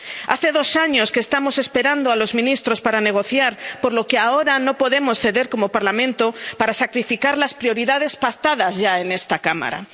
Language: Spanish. Hace dos años que estamos esperando a los ministros para negociar, por lo que ahora no podemos ceder como Parlamento para sacrificar las prioridades pactadas ya en esta Cámara.